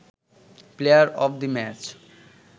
player of the match